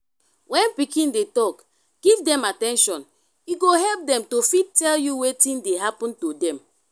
when pikin dey talk give them at ten tion e go help dem to fit tell you wetin dey happen to them